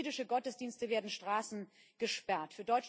Für jüdische Gottesdienste werden Straßen gesperrt.